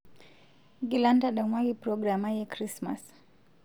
ng'ila ntadamuaki program ai e krismas